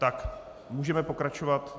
Tak, můžeme pokračovat.